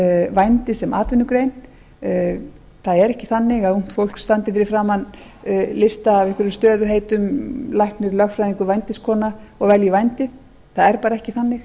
vændi sem atvinnugrein það er ekki þannig að ungt fólk standi fyrir framan lista af einhverjum stöðuheitum læknir lögfræðingur vændiskona og velji vændið það er bara ekki þannig